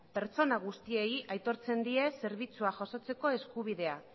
pertsona guztiei aitortzen die zerbitzua jasotzeko eskubidea